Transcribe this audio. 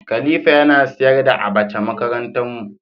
khalifa Yana sayar da abacha makaranta mu.